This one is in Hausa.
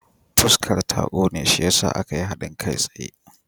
Fuskar ta ƙone shi ya sa aka yi haɗin kai tsaye.